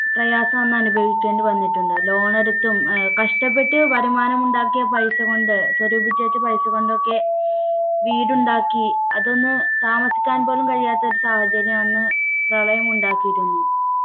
പ്രയാസം അന്ന് അനുഭവിക്കേണ്ടി വന്നിട്ടുണ്ട് loan എടുത്തും ഏർ കഷ്ടപ്പെട്ട് വരുമാനം ഉണ്ടാക്കിയ പൈസ കൊണ്ട് സ്വരൂപിച്ചുവെച്ച പൈസ കൊണ്ട് ഒക്കെ വീടുണ്ടാക്കി അതൊന്ന് താമസിക്കാൻ പോലും കഴിയാത്ത ഒരു സാഹചര്യം അന്ന് പ്രളയം ഉണ്ടാക്കിയിരുന്നു